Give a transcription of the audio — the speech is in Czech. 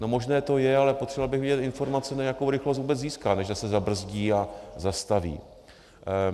No, možné to je, ale potřeboval bych vědět informaci, jakou rychlost vůbec získá, než zase zabrzdí a zastaví.